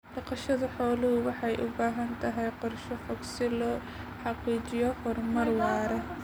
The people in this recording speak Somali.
Dhaqashada xooluhu waxay u baahan tahay qorshe fog si loo xaqiijiyo horumar waara.